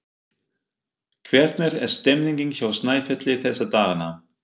Hvernig er stemningin hjá Snæfelli þessa dagana?